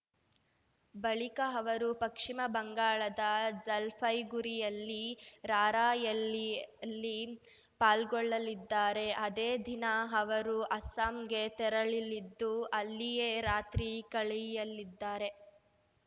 ಬಳಿಕ ಅವರು ಪಕ್ಶ್ಚಿಮ ಬಂಗಾಳದ ಜಲ್‌ಪೈಗುರಿಯಲ್ಲಿ ರಾರ‍ಯಲ್ಲಿಯಲಿ ಪಾಲ್ಗೊಳ್ಳಲಿದ್ದಾರೆ ಅದೇ ದಿನ ಅವರು ಅಸ್ಸಾಂಗೆ ತೆರಳಲಿದ್ದು ಅಲ್ಲಿಯೇ ರಾತ್ರಿ ಕಳೆಯಲಿದ್ದಾರೆ